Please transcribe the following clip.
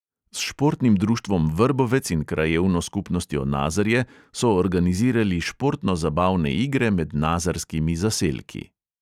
S športnim društvom vrbovec in krajevno skupnostjo nazarje so organizirali športno zabavne igre med nazarskimi zaselki.